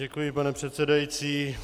Děkuji, pane předsedající.